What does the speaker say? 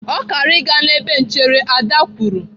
"Ọ kara aga n'ebe nchere!" Ada kwuru.